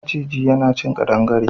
Maciji yana cin ƙadangare.